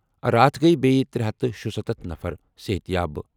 راتھ گٔیہِ بیٚیہِ 376 نفر صحتیاب۔